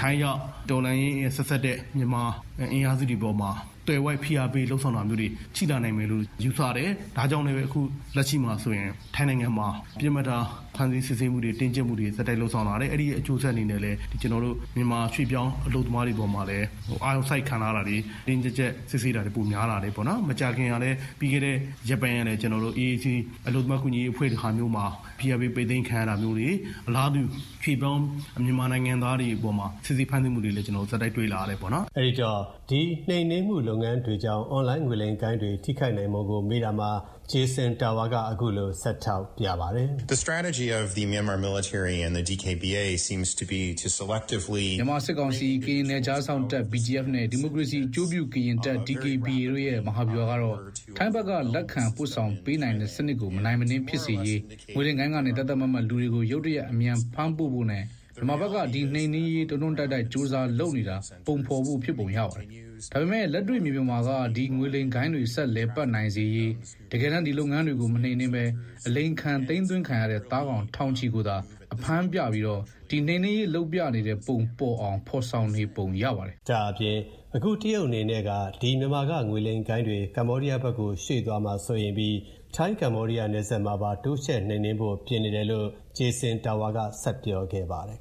ထိုင်းရောက် တော်လှန်ရေးနဲ့ဆက်စပ်တဲ့ မြန်မာအင်အားစုတွေပေါ်မှာ သွယ်ဝိုက်ဖိ အားပေးမှုတွေလုပ်ဆောင်တာမျိုးတွေရှိလာနိုင်တယ်လို့ ယူဆတယ်၊ ဒါကြောင့်လည်းပဲ လက်ရှိမှာဆိုရင် ထိုင်းနိုင်ငံမှာ ပစ်မှတ်ထား ဖမ်းဆီးစစ်ဆေးမှုတွေ၊ တင်းကျပ်မှုတွေ ဆက်တိုက်လုပ်ဆောင်လာတယ်။ အဲဒီ အကျိုးဆက်အနေနဲ့လည်း မြန်မာရွှေ့ပြောင်းအလုပ်သမားတွေအပေါ်မှာလည်း အာရုံစိုက်ခံလာရတာတွေ၊ တင်းတင်းကြပ်ကြပ်စစ်ဆေးတာတွေ ပိုများလာပါတယ်။ မကြာခင် ပြီးခဲ့တဲ့ရက်ပိုင်းကလည်း အလုပ်သမားကူညီရေးအဖွဲ့တွေမှာ ဖိအားပေးပိတ်သိမ်းခံရတာမျိုးတွေ၊ အလားတူ ရွှေ့ပြောင်းမြန်မာနိုင်ငံသားတွေအပေါ်မှာ စစ်ဆေးဖမ်းဆီးမှု တွေကိုလည်း ဆက်တိုက်တွေ့လာရပါတယ် “ အဲ့ဒီတော့ ဒီနှိမ်နင်းမူလုပ်ငန်းတွေကြောင့် အွန်လိုင်းငွေလိမ်ဂိုဏ်းတွေ ထိခိုက်နိုင်ပုံကို မေးတာမှာ Jason Tower က အခုလို ဆက်ထောက်ပြပါတယ်။ "မြန်မာစစ်ကောင်စီ၊ ကရင်နယ်ခြားစောင့်တပ် BGF နဲ့ ဒီမိုကရေစီအကျိုးပြုကရင်တပ် DKBA တို့ရဲ့ မဟာဗျူဟာကတော့ ထိုင်းဖက်က လက်ခံပို့ဆောင် ပေးနိုင်တဲ့စနစ်ကို မနိုင်မနင်းဖြစ်စေရေး ငွေလိမ်ဂိုဏ်းကနေ သတ်သတ်မှတ်မှတ် လူတွေကို ရုတ်တရက် အမြန်ဖမ်းပို့ဖို့နဲ့ မြန်မာဖက်က ဒီနှိမ်နင်းရေး တွန်းတွန်းတိုက်တိုက်ကြိုးစားလုပ်နေတာ ပုံဖော်ဖို့ ဖြစ်ပုံရပါတယ်။ ဒါပေမဲ့ လက်တွေ့မြေပြင်မှာက ဒီငွေလိမ်ဂိုဏ်းတွေ ဆက်လည်ပတ်နိုင်စေရေး တကယ်တမ်း ဒီလုပ်ငန်းတွေကို မနှိမ်နင်းပဲ အလိမ်ခံ သိမ်းသွင်းခံရတဲ့ သားကောင် တောင်ချီကိုသာ အဖမ်းပြပြီးတော့ ဒီ နှိမ်နင်းရေးလုပ်ပြနေတဲ့ပုံပေါ်အောင် ဖော်ဆောင်နေပုံရပါတယ်။" ဒါ့အပြင် အခုတရုတ်အနေနဲ့က ဒီမြန်မာက ငွေလိမ်ဂိုဏ်းတွေ ကမ္ဘောဒီယားဖက်ကို ရွှေ့ သွားမှာ စိုးရိမ်ပြီး ထိုင်း-ကမ္ဘောဒီးယားနယ်စပ်မှာပါ တိုးချဲ့နှိမ်နင်းဖို့ပြင်နေတယ်လို့ Jason Tower က ဆက်ပြောသွားခဲ့ပါတယ်